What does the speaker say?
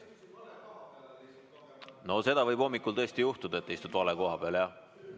No seda võib hommikul tõesti juhtuda, et istud vale koha peal, jah.